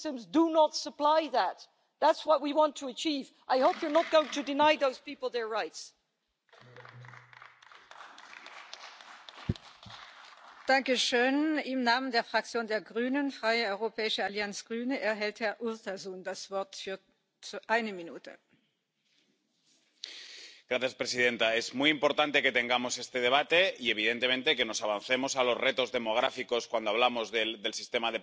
Madam President, the pension system in the UK is showing increasing inequalities that should alarm us all. There always used to be a trade-off between working in the public and the private sector. The private sector was the wealth creator. There was high risk, but it also provided high rewards. Life in the public sector was low risk, by which I mean job security, but also provided rewards that were far lower than those expected in the private sector.